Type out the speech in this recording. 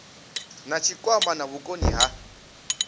na tshikwama na vhukoni ha